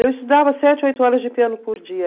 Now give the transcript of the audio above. Eu estudava sete, oito horas de piano por dia.